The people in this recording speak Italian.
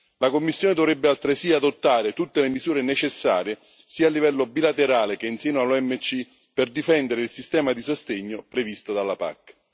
La Commissione dovrebbe altresì adottare tutte le misure necessarie, sia a livello bilaterale che in seno all'OMC, per difendere il sistema di sostegno previsto dalla PAC.